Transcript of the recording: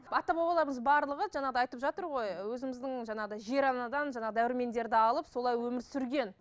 ата бабаларымыз барлығы жаңағыдай айтып жатыр ғой өзіміздің жаңағыдай жер анадан жаңағыдай дәрумендерді алып солай өмір сүрген